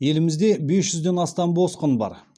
елімізде бес жүзден астам босқын бар